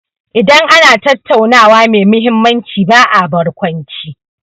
Idan ana tattaunawa mai mahimmanci ba a barkwanci.